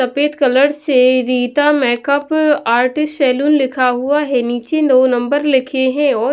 सफेद कलर से Rita makeup artist salon लिखा हुआ है नीचे नौ नंबर लिखे हैं और --